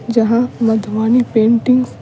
जहां मधुवानी पेंटिंग।